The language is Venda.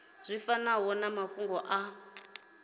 zwi fanaho na mafhungo a